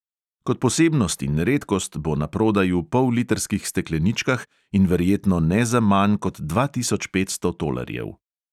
Kot posebnost in redkost bo naprodaj v pollitrskih stekleničkah in verjetno ne za manj kot dva tisoč petsto tolarjev.